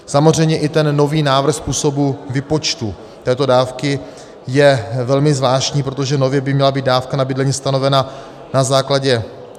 Samozřejmě i ten nový návrh způsobu výpočtu této dávky je velmi zvláštní, protože nově by měla být dávka na bydlení stanovena na základě...